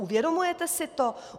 Uvědomujete si to?